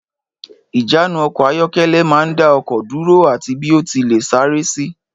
Ìjánu ọkọ̀ ayọ́kẹ́lẹ́ máa ń dá ọkọ̀ dúró ati bí ó ti léè sáré sì.